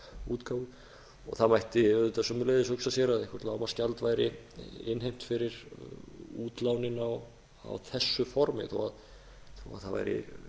útgáfu það mætti auðvitað einnig hugsa sér að eitthvert lágmarksgjald væri innheimt fyrir útlánin í þessu formi þó að það væri